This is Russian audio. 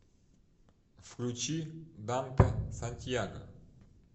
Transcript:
включи дантэ сантьяго